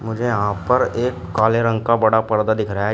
यहां पर एक काले रंग का बड़ा पर्दा दिख रहा है